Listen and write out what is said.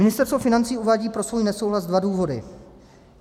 Ministerstvo financí uvádí pro svůj nesouhlas dva důvody.